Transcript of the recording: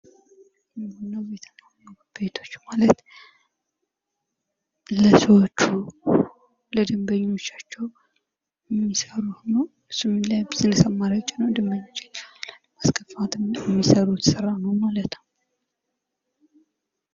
ምግብ ቤቶች የደንበኞችን ፍላጎት ለማሟላት የተለያዩ የአገልግሎት ዓይነቶችን እንደ መቀመጫ፣ መውሰድና ማድረስ ያቀርባሉ።